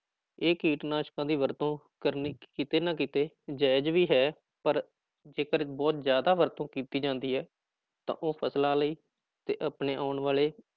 ਇਹ ਕੀਟਨਾਸ਼ਕਾਂ ਦੀ ਵਰਤੋਂ ਕਰਨੀ ਕਿਤੇ ਨਾ ਕਿਤੇ ਜਾਇਜ਼ ਵੀ ਹੈ ਪਰ ਜੇਕਰ ਬਹੁਤ ਜ਼ਿਆਦਾ ਵਰਤੋਂ ਕੀਤੀ ਜਾਂਦੀ ਹੈ ਤਾਂ ਉਹ ਫ਼ਸਲਾਂ ਲਈ ਤੇ ਆਪਣੇ ਆਉਣ ਵਾਲੇ